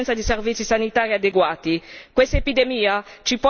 Questa epidemia ci pone di fronte alle nostre responsabilità.